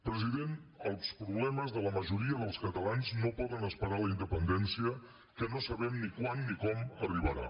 president els problemes de la majoria dels catalans no poden esperar la independència que no sabem ni quan ni com arribarà